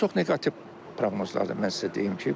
Çox neqativ proqnozlardır, mən sizə deyim ki.